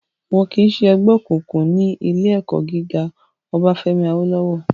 Wọ́n kìí sẹ́ ẹgbẹ́ òkùnkùn ní ilé ẹ̀kọ́ gíga Obáfẹ́mi Awólọ́wọ̀